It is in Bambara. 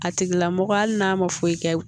A tigilamɔgɔ hali n'a ma foyi kɛ